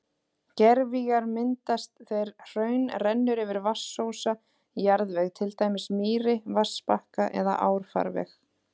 Gervigígar myndast þegar hraun rennur yfir vatnsósa jarðveg, til dæmis mýri, vatnsbakka eða árfarveg.